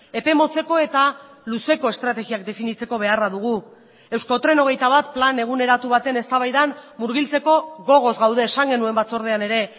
epe motzeko eta luzeko estrategiak definitzeko beharra dugu euskotren hogeita bat plan eguneratu baten eztabaidan murgiltzeko gogoz gaude esan genuen batzordean ere